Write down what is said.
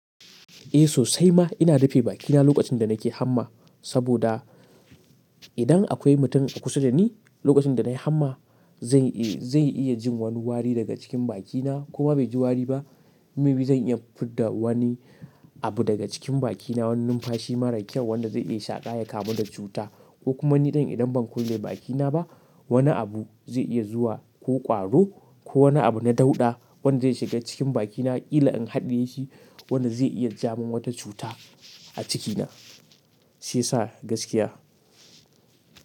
Eh sosai ma ina rufe bakina lokacin da nake hamma, saboda idan akwai mutum a kusa da ni lokacin da na yi hamma, zai iya jin wani wari daga cikin bakina koma bai ji wari ba maybe zan iya fidda wani abu daga cikin bakina, wani numfashi mara kyau wanda zai iya shaƙa ya kamu da cuta. Ko kuma ni idan ban kulle bakina ba wani abu zai iya zuwa ko ƙwaro ko wani abu na dauɗa wanda zai shiga cikin bakina ƙila in haɗiye shi wanda zai iya jawo min wata cuta a cikina, shiya sa gaskiya.